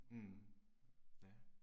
Mh. Ja